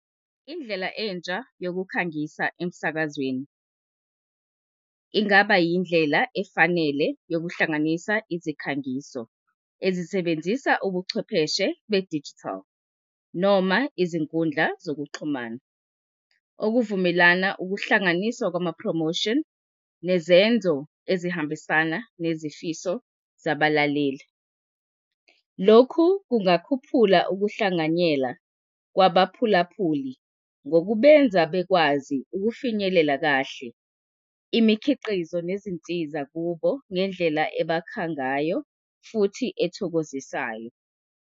Indlela entsha yokukhangisa emsakazweni ingaba yindlela efanele yokuhlanganisa izikhangiso ezisebenzisa ubuchwepheshe be-digital noma izinkundla zokuxhumana. Okuvumelana ukuhlanganiswa kwama-promotion nezenzo ezihambisana nezifiso zabalaleli. Lokhu kungakhuphula ukuhlanganyela kwaba phulaphuli ngokubenza bekwazi ukufinyelela kahle imikhiqizo nezinsiza kubo ngendlela ebakha ngayo futhi ezithokozisayo.